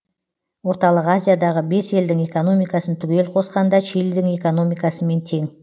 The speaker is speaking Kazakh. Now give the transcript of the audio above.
орталық азиядағы бес елдің экономикасын түгел қосқанда чилидің экономикасымен тең